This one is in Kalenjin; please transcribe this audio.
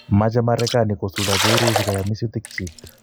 Mache Marekani kosuldechi Urusi kayamisutik chik